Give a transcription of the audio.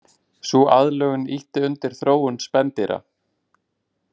Sú aðlögun ýtti undir þróun spendýra.